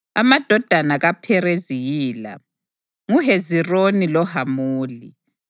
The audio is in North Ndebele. Amadodana kaPherezi yila: nguHezironi loHamuli.